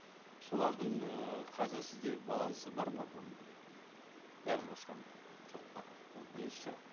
солардың ыыы қазір сізде балансы бар ма бүгінгі күні бәрін қосқанда жоқ па ол бірінші сұрақ